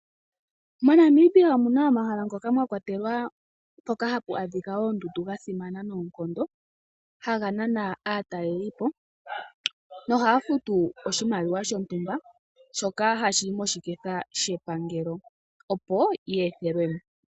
MoNamibia omuna omahala ngoka haga adhika oondundu gasimana noonkondo. Ohaga nana aataleli mboka haya futu oshimaliwa shoka hashi yi moshiketha shoshilongo, opo ye ethelwe mo.